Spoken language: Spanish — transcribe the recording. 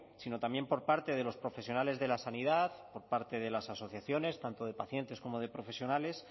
sino también por parte de los profesionales de la sanidad por parte de las asociaciones tanto de pacientes como de profesionales